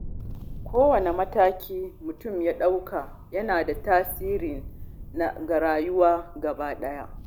Kowane mataki da mutum ya ɗauka yana da tasiri ga rayuwarsa gaba ɗaya.